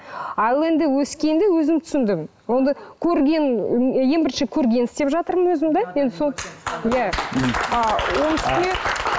ал енді өскенде өзім түсіндім көрген ең бірінші көргенді істеп жатырмын өзім да енді сол иә ы оның үстіне